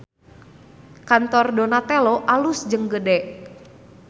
Kantor Donatello alus jeung gede